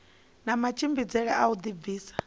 na matshimbidzele a u dibvisa